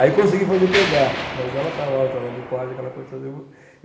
Aí consegui fazer pegar, mas ela estava lá no trabalho de parte, aquela coisa toda.